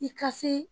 I ka se